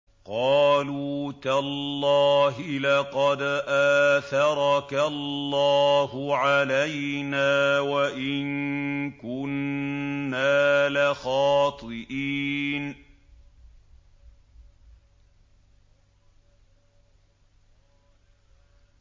قَالُوا تَاللَّهِ لَقَدْ آثَرَكَ اللَّهُ عَلَيْنَا وَإِن كُنَّا لَخَاطِئِينَ